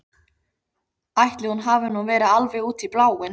Ætli hún hafi nú verið alveg út í bláinn.